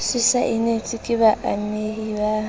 se saenetswe ke baamehi ba